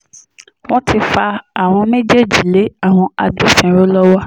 wọ́n ti fa àwọn méjèèjì lé àwọn agbófinró lọ́wọ́